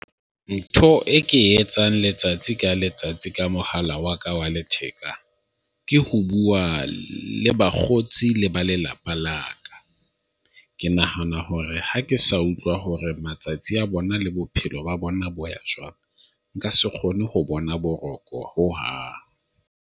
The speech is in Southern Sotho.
Ntho e ke etsang letsatsi ka letsatsi, ka mohala wa ka wa letheka ke ho bua le bakgotsi le ba lelapa la ka. Ke nahana hore ha ke sa utlwa hore matsatsi a bona le bophelo ba bona bo ya jwang. Nka se kgone ho bona boroko hohang.